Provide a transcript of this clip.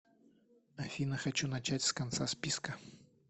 афина хочу начать с конца списка